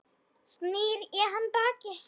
Snýr í hann baki.